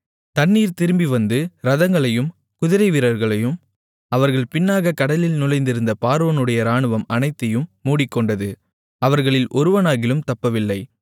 தண்ணீர் திரும்பிவந்து இரதங்களையும் குதிரைவீரர்களையும் அவர்கள் பின்னாக கடலில் நுழைந்திருந்த பார்வோனுடைய இராணுவம் அனைத்தையும் மூடிக்கொண்டது அவர்களில் ஒருவனாகிலும் தப்பவில்லை